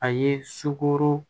A ye sukoro